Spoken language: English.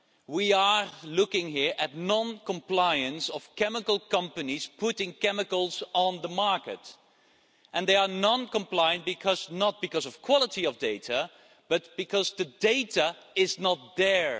We are looking here at noncompliance of chemical companies putting chemicals on the market and they are non-compliant, not because of quality of data, but because the data is not there.